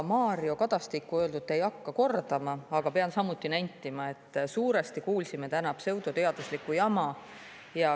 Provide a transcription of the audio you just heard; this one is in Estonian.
Mario Kadastiku öeldut ma ei hakka kordama, aga pean samuti nentima, et suuresti kuulsime täna pseudoteaduslikku jama.